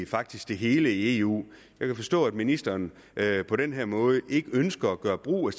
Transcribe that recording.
faktisk det hele i eu jeg kan forstå at ministeren på den her måde ikke ønsker at gøre brug af